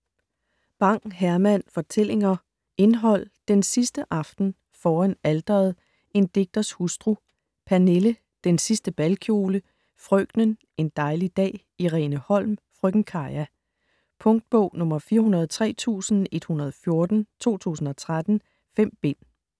Bang, Herman: Fortællinger Indhold: Den sidste Aften ; Foran Alteret ; En Digters Hustru ; Pernille ; Den sidste Balkjole ; Frøkenen ; En dejlig dag ; Irene Holm ; Frøken Caja. Punktbog 403114 2013. 5 bind.